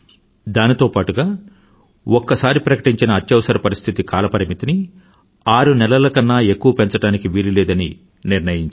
దానితో పాటుగా ఒక్కసారికి ప్రకటించిన అత్యవసర పరిస్థితి కాల పరిమితిని ఆరునెలలకన్నా ఎక్కువ పెంచడానికి వీలులేదని నిర్ణయించారు